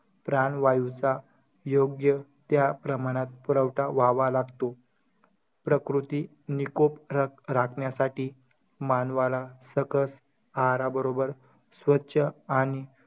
प्राणवायूचा योग्य त्या प्रमाणात पुरवठा व्हावा लागतो. प्रकृती निकोप रा~ राखण्यासाठी मानवाला सकस आहाराबरोबर स्वच्छ आणि,